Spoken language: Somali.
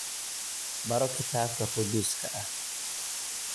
Baro Kitaabka Qudduuska ah